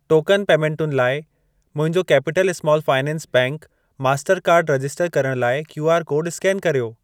Token पेमेंटुनि लाइ मुंहिंजो केपिटल स्माल फाइनेंस बैंक मास्टरकार्डु कार्ड रजिस्टर करण लाइ क्यूआर कोड स्केन कर्यो।